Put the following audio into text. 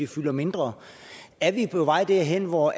fylder mindre er vi på vej derhen hvor